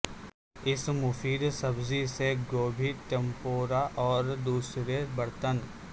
اس مفید سبزی سے گوبھی ٹمپورا اور دوسرے برتن